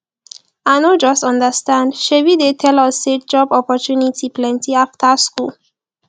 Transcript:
i no just understand shebi dey tell us say job opportunity plenty after school